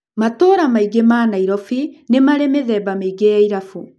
Matũũra maĩngĩ ma Nairobi nĩ marĩ mĩthemba mĩingi ya irabu.